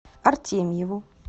артемьеву